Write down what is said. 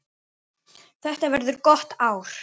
Þetta verður gott ár.